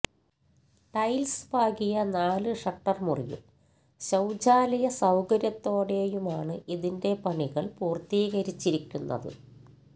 tiles പാകിയ നാല് shutter മുറിയും ശൌചാലയ സൌകര്യത്തോടെയുമാണ് ഇതിന്റെ പണികള് പൂര്ത്തീകരിച്ചിരിക്കുന്നത്